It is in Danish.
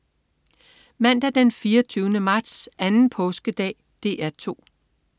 Mandag den 24. marts. Anden påskedag - DR 2: